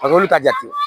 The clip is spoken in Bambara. olu ka jate